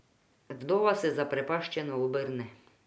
Vdova se zaprepaščeno obrne.